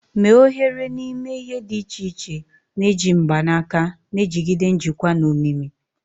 Mee oghere n'ime ihe dị iche iche na-eji mgbanaka, na-ejigide njikwa na omimi.